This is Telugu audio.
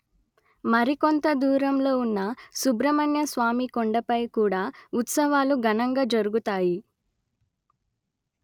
మరి కొంత దూరంలో ఉన్న సుబ్రహ్మణ్య స్వామి కొండపై కూడా ఉత్సవాలు ఘనంగా జరుగుతాయి